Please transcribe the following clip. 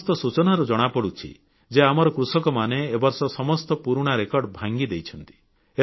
ସମସ୍ତ ସୂଚନାରୁ ଜଣାପଡ଼ୁଛି ଯେ ଆମର କୃଷକମାନେ ଏ ବର୍ଷ ସମସ୍ତ ପୁରୁଣା ରେକର୍ଡ ଭାଙ୍ଗିଦେଇଛନ୍ତି